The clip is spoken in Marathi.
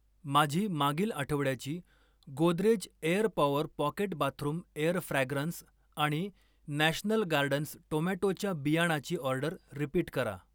माझी मागील आठवड्याची Godrej air power pocket bathroom air fragrance आणि नॅशनल गार्डन्स टोमॅटोच्या बियाणाची ऑर्डर रिपीट करा.